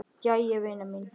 Jæja vina mín.